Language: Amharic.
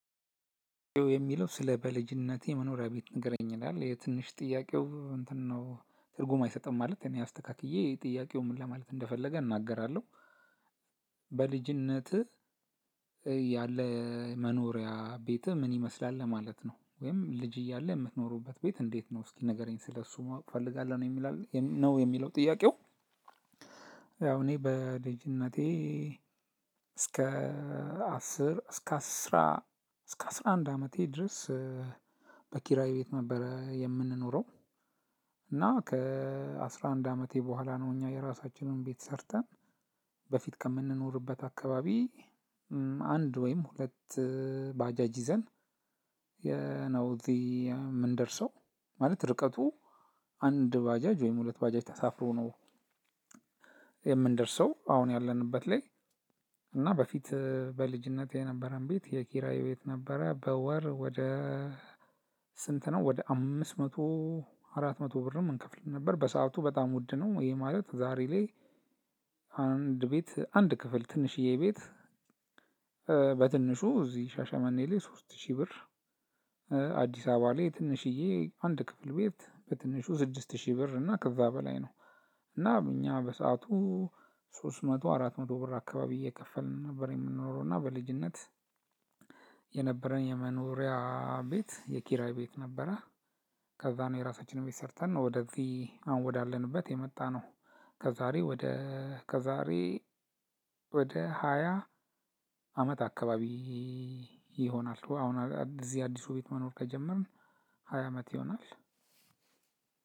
የሚለው ስለ በልጅነቴ መኖሪያ ቤት ንገረኝ ይላል የትንሽ ጥያቄው እንትን ነው ትርጉም አይሰጥም ማለት እኔ አስተካክዬ ጥያቄው ምን ለማለት እንደፈለገ እናገራለሁ። በልጅነትህ ያለህ መኖሪያ ቤትህ ምን ይመስላል ለማለት ነው ወይም ልጅ እያለህ የምትኖርበት ቤት እንዴት ነው እስቲ ንገረኝ ስለሱ ማወቅ እፈልጋለሁ። ነው የሚለው ጥያቄው። ያው እኔ በልጅነቴ እስከ አስር እስከ አስራ እስከ አስራ አንድ አመቴ ድረስ በኪራይ ቤት ነበር የምንኖረው። እና ከአስራ አንድ አመቴ በኋላ ነው እኛ የራሳችንን ቤት ሰርተን በፊት ከምንኖርበት አካባቢ አንድ ወይም ሁለት ባጃጅ ይዘን የነው እዚህ የምንደርሰው። ማለት ርቀቱ አንድ ባጃጅ ወይም ሁለት ባጃጅ ተሳፍሮ ነው። የምንደርሰው አሁን ያለንበት ላይ እና በፊት በልጅነቴ የነበረን ቤት የኪራይ ቤት ነበረ። በወር ወደ ስንት ነው? ወደ አምስት መቶ አራት መቶ ብርም እንከፍል ነበር በሰአቱ በጣም ውድ ነው። ይሄ ማለት ዛሬ ላይ አንድ ቤት አንድ ክፍል ትንሽዬ ቤት። በትንሹ እዚህ ሻሻመኔ ላይ ሶስት ሺህ ብር። አዲስ አበባ ላይ ትንሽዬ አንድ ክፍል ቤት በትንሹ ስድስት ሺህ ብር እና ከዛ በላይ ነው። እና እኛ በሰአቱ ሶስት መቶ አራት መቶ ብር አካባቢ እየከፈልን ነበር የምንኖረው። እና በልጅነት የነበረን የመኖሪያ ቤት የኪራይ ቤት ነበረ። ከዛ ነው የራሳችንን ቤት ሰርተን ነው ወደዚህ አሁን ወዳለንበት የመጣነው። ከዛሬ ወደ ከዛሬ ወደ ሃያ አመት አካባቢ ይሆናል። አሁን እዚህ አዲሱ ቤት መኖር ከጀመርን ሃያ አመት ይሆናል።